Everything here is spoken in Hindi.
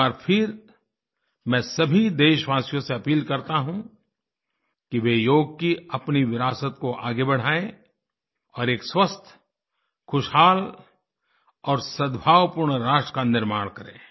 एक बार फिर मैं सभी देशवासियों से अपील करता हूँ कि वे योग की अपनी विरासत को आगे बढ़ायें और एक स्वस्थ खुशहाल और सद्भावपूर्ण राष्ट्र का निर्माण करें